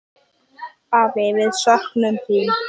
Afi, við söknum þín.